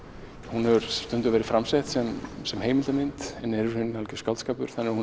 hún hefur stundum verið framsett sem heilmildamynd en er í raun algjör skáldskapur þannig að hún